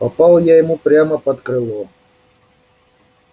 попал я ему прямо под крыло